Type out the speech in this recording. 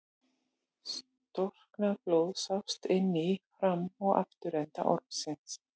Storknað blóð sást inni í fram- og afturenda ormsins.